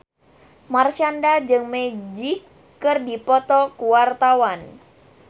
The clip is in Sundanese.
Marshanda jeung Magic keur dipoto ku wartawan